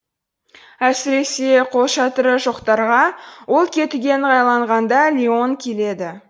әсіресе қолшатыры жоқтарға ол кетуге ыңғайланғанда леон келеді